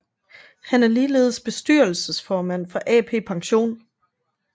Han er ligeledes bestyrelsesformand for AP Pension